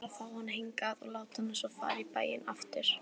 Hugmyndin var að fá hana hingað og láta hana svo fara í bæinn aftur.